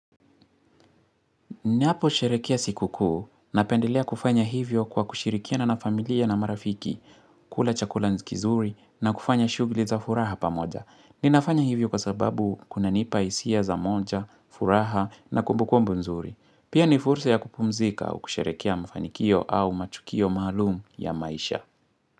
Niapo sherekilea siku kuu na pendelea kufanya hivyo kwa kushirikia na nafamilia na marafiki, kula chakula nzikizuri na kufanya shugli za furaha pa moja. Ni nafanya hivyo kwa sababu kuna nipa hisia za moja, furaha na kumbukumbu nzuri. Pia ni fursa ya kupumzika au kusherekeq mfanikio au matukio maalum ya maisha.